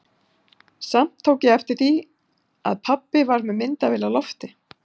Samt tók ég eftir því að pabbi var með myndavél á lofti.